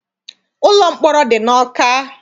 Ụlọ mkpọrọ dị n'Ọka.